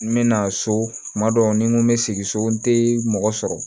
N mɛna so kuma dɔw ni n ko bɛ sigi so n tɛ mɔgɔ sɔrɔ